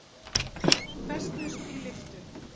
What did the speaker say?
Festust í lyftu